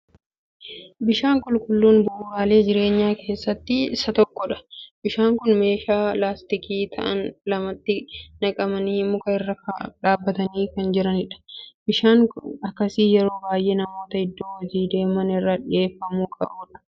Bishaan qulqulluun bu'uuraalee jireenyaa keessaa isa tokkodha. Bishaan kun meeshaa laastikii ta'an lamatti naqamanii, muka irra dhaabbatanii kan jiranidha. Bishaan akkasii yeroo baay'ee namoota iddoo hojii deemaniif kan dhiyeeffamuu qabudha.